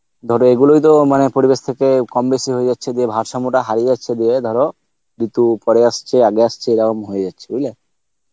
ধরো এগুলোই তো মানে পরিবেশ থেকে কম-বেশি হয়ে যাচ্ছে দিয়ে ভারসাম্যটা হারিয়ে যাচ্ছে দিয়ে ধরো ঋতু পরে আসছে আগে আসছে এরাম হয়ে যাচ্ছে বুঝলে